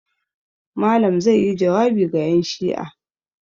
Malam zai yi jawabi ga 'yanshi'a.